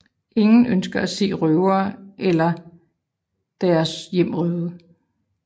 Ingen ønsker at se røvere eller deres hjem røvet